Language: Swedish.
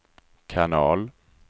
kanal